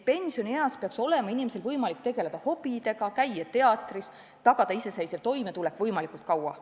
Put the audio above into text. Pensionieas peaks olema võimalik tegeleda hobidega, käia teatris, tagada iseseisev toimetulek võimalikult kaua.